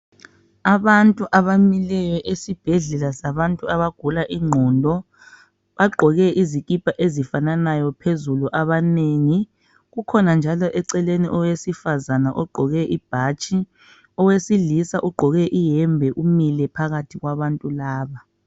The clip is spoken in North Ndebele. Abantu abamileyo esibhedlela sabantu abagula ingqondo. Bagqoke izikipa ezifananayo phezulu abanengi. Kukhona njalo eceleni owesifazana ogqoke ibhatshi. Owesilisa ugqoke iyembe umile phakathi kwabantu laba.